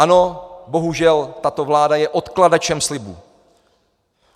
Ano, bohužel tato vláda je odkladačem slibů.